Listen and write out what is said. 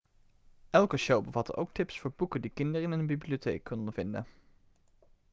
elke show bevatte ook tips voor boeken die kinderen in hun bibliotheek konden vinden